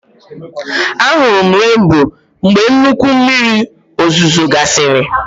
A hụrụ m renboo mgbe nnukwu mmiri ozuzo gasịrị